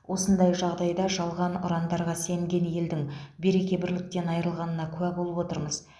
осындай жағдайда жалған ұрандарға сенген елдің береке бірліктен айырылғанына куә болып отырмыз